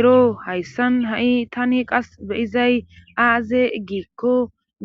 ero hayssan ha7i tani qas be izay aaze giikko